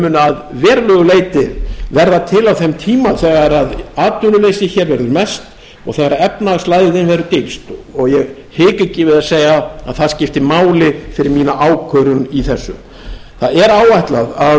munu að verulegu leyti verða til á þeim tíma þegar atvinnuleysi er mest og þegar efnahagslægðin er dýpst og ég hika ekki við að segja að það skiptir máli fyrir mína ákvörðun í þessu áætlað er að